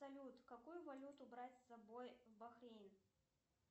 салют какую валюту брать с собой в бахрейн